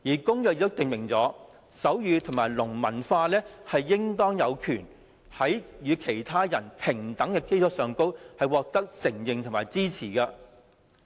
《公約》亦訂明，手語和聾文化應當有權在與其他人平等的基礎上獲得承認和支持。